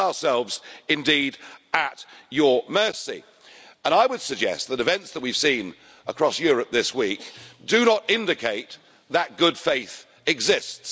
We put ourselves indeed at your mercy, and I would suggest that events that we've seen across Europe this week do not indicate that good faith exists.